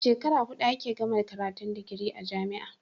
Shekara hudu ake gama karatun digiri a jamia